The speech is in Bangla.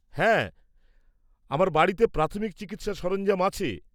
হ্যাঁ, আমার বাড়িতে প্রাথমিক চিকিৎসার সরঞ্জাম আছে।